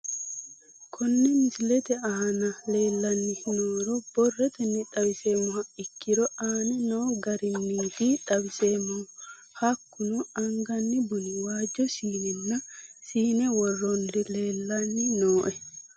Kone misilete aana leelanni nooro borrotenni xawisemoha ikiiro aane noo garinniti xawiseemohu hakunno anganni bunni waajo siinena sine worannirri leelani nooe